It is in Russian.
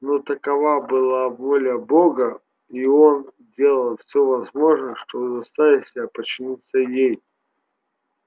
но такова была воля бога и он делал всё возможное чтобы заставить себя подчиниться ей